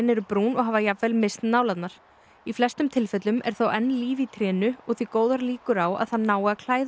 eru brún og hafa jafnvel misst nálarnar í flestum tilfellum er þó enn líf í trénu og því góðar líkur á að það nái að klæða